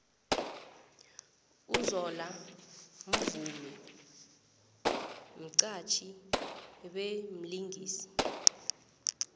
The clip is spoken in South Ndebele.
uzola mvumi mxhatjhi bemlingisi